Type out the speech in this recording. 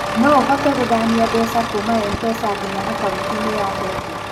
No ũhote gũthamia mbeca kuuma Mpesa nginya akaũnti-inĩ ya bengi?